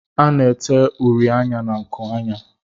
A na-ete uri anya na nkuanya.